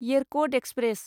Yercaud express